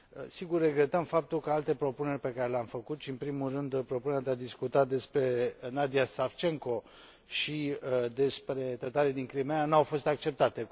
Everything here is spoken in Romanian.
Sigur, regretăm faptul că alte propuneri pe care le am făcut, în primul rând propunerea de a discuta despre Nadia Savcenko și despre tătarii din Crimeea, n au fost acceptate.